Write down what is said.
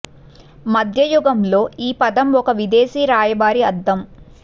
మధ్య యుగం లో ఈ పదం ఒక విదేశీ రాయబారి అర్థం